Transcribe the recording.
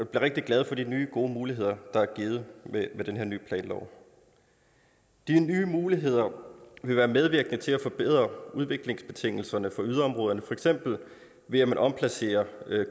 rigtig glade for de nye gode muligheder der er givet med den her nye planlov de nye muligheder vil være medvirkende til at forbedre udviklingsbetingelserne for yderområderne for eksempel ved at man omplacerer